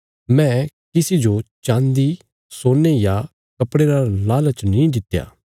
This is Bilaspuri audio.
मैं किसी जो चाँदी सोने या कपड़े रा लालच नीं कित्या